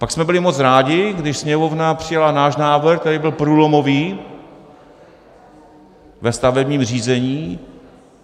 Pak jsme byli moc rádi, když Sněmovna přijala náš návrh, který byl průlomový ve stavebním řízení.